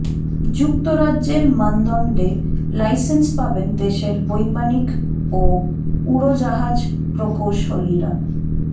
যুক্তরাজ্যের মানদণ্ডে লাইসেন্স পাবেন দেশের বৈমানিক ও উড়োজাহাজ প্রকৌশলীরা